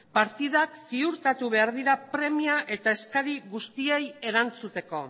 partidak ziurtatu behar dira premia eta eskari guztiei erantzuteko